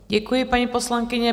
Děkuji, paní poslankyně.